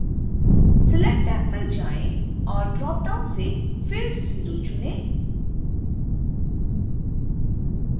select tab पर जाएँ और ड्रॉपडाउन से field 0 चुनें